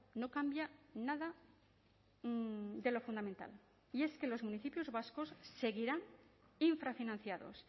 no cambia nada de lo fundamental y es que los municipios vascos seguirán infrafinanciados